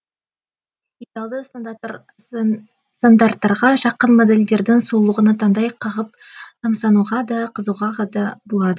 идеалды стандарттарға жақын модельдердің сұлулығына таңдай қағып тамсануға да қызығуға да болады